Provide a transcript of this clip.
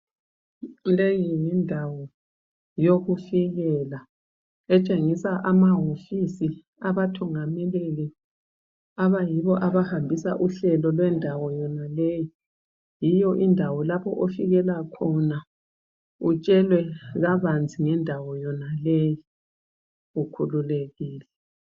Leyi yindawo yokufikela etshengisa amahofisi abathungameleli abayibo abahambisa uhlelo lwendawo yonaleyo. Yiyo indawo lapho ofikela khona utshelwe kabanzi ngendawo yonaleyi ukhululekile.